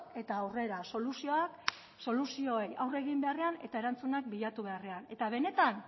eta aurrera soluzioak soluzioei aurre egin beharrean eta erantzunak bilatu beharrean eta benetan